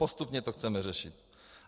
Postupně to chceme řešit.